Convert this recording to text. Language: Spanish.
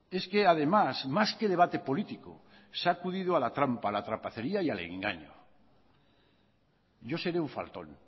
es que además más que debate político se ha acudido a la trampa a la trapacería y al engaño yo seré un faltón